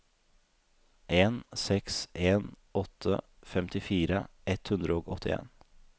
en seks en åtte femtifire ett hundre og åttien